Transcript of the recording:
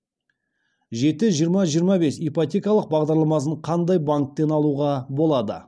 жеті жиырма жиырма бес ипотекалық бағдарламасын қандай банктен алуға болады